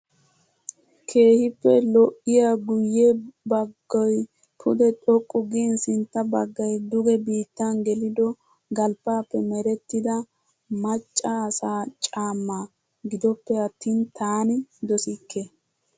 Keehippe lo'iyaa guyye baggoyi pude xoqqu gin sintta baggayi duge bittan gelido galbbaappe merettida macca asaa caammaa. gidoppe attin taani dosikke.